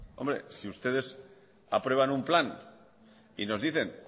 si ustedes aprueban un plan y nos dicen